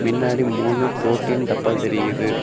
மின்னாடி மூணு புரொடின் டப்பா தெரியிது.